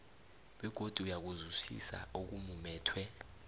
begodu uyakuzwisisa okumumethwe